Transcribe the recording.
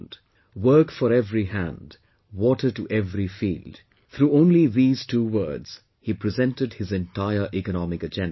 'Work for every hand, water to every field' through only these two words he presented his entire economic agenda